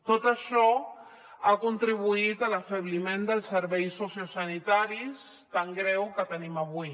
tot això ha contribuït a l’afebliment dels serveis sociosanitaris tan greu que tenim avui